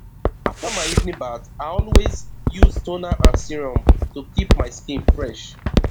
after my evening bath i always use toner and serum to keep my skin fresh